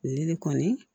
Ne de kɔni